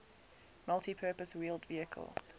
multipurpose wheeled vehicle